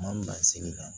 Maa min b'a segin kan